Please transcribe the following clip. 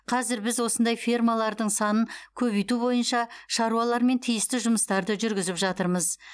қазір біз осындай фермалардың санын көбейту бойынша шаруалармен тиісті жұмыстарды жүргізіп жатырмыз